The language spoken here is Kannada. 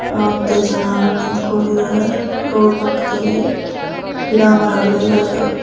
ಅವತ್ತು ಜನಗಳು ನಿಂತುಕೊಂಡಿದ್ದಾರೆ ರೋಡ್ ಪಕ್ಕದಲ್ಲಿ ಗಿಡಮರಗಳು ಎಲ್ಲ ಇದಾವೆ.